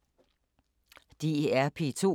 DR P2